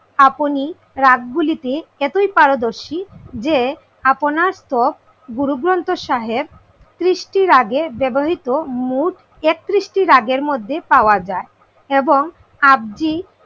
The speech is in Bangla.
আপনি রাগ গুলিতে এতই পারদর্শী, যে আপনার স্তব গুরুগ্রন্থ সাহেব তৃষ্টির আগে ব্যবহৃত মোট একত্রিশটি রাগের মধ্যে পাওয়া যায়। এবং আব্জি